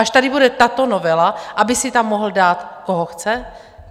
Až tady bude tato novela, aby si tam mohl dát, koho chce?